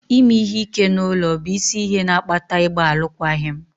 Ime ihe ike n'ime ụlọ bụ isi ihe na-akpata ịgba alụkwaghịm.